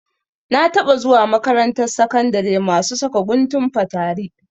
Na taɓa zuwa makarantar sakandari masu saka guntun fatari.